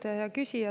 Hea küsija!